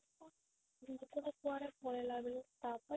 ଲୋକ ଟା କୁଆଡେ ପଳେଇଲା ବୋଲି ତାପରେ